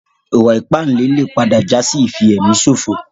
Ìwà ìpánle lè padà jásí ìfi èmi ṣòfò